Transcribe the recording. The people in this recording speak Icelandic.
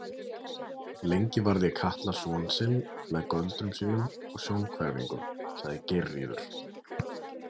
Lengi varði Katla son sinn með göldrum sínum og sjónhverfingum, sagði Geirríður.